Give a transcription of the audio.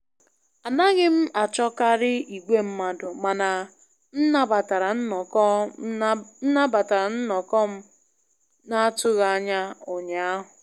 Anaghị m achọkarị igwe mmadụ, mana m nabatara nnọkọ m nabatara nnọkọ m na-atụghị anya ụnyaahụ